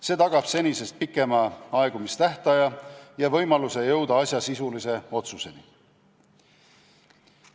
See tagab senisest pikema aegumistähtaja ja võimaluse jõuda asjas sisulise otsuseni.